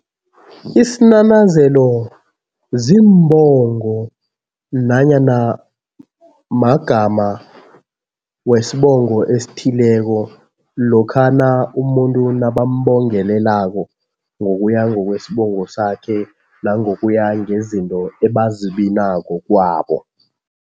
Isinanazelo ziimbongo nanyana magama wesibongo esithileko lokhana umuntu nabambongelelako ngokuya ngokwesibongo sakhe nangokuya ngezinto ebazibinako kwabo.